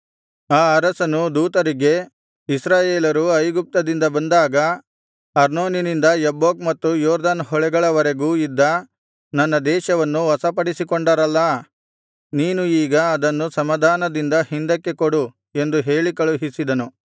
ಆ ಅರಸನು ದೂತರಿಗೆ ಇಸ್ರಾಯೇಲರು ಐಗುಪ್ತದಿಂದ ಬಂದಾಗ ಅರ್ನೋನಿನಿಂದ ಯಬ್ಬೋಕ್ ಮತ್ತು ಯೊರ್ದನ್ ಹೊಳೆಗಳವರೆಗೂ ಇದ್ದ ನನ್ನ ದೇಶವನ್ನು ವಶಪಡಿಸಿಕೊಂಡರಲ್ಲಾ ನೀನು ಈಗ ಅದನ್ನು ಸಮಾಧಾನದಿಂದ ಹಿಂದಕ್ಕೆ ಕೊಡು ಎಂದು ಹೇಳಿ ಕಳುಹಿಸಿದನು